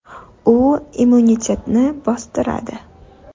U immunitetni bostiradi.